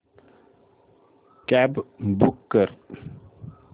cab book कर